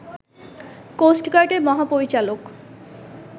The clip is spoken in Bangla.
কোস্ট গার্ডের মহাপরিচালক